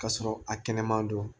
K'a sɔrɔ a kɛnɛ ma don